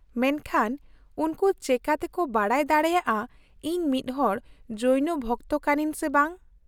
-ᱢᱮᱱᱠᱷᱟᱱ ᱩᱱᱠᱩ ᱪᱮᱤᱠᱟᱹᱛᱮᱠᱚ ᱵᱟᱰᱟᱭ ᱫᱟᱲᱮᱭᱟᱜᱼᱟ ᱤᱧ ᱢᱤᱫᱦᱚᱲ ᱡᱳᱭᱱᱚ ᱵᱷᱚᱠᱛᱚ ᱠᱟᱹᱱᱟᱹᱧ ᱥᱮ ᱵᱟᱝ ?